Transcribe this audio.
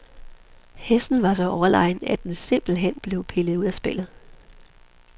Hesten var så overlegen, at den simpelt hen blev pillet ud af spillet.